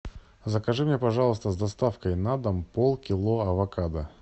закажи мне пожалуйста с доставкой на дом полкило авокадо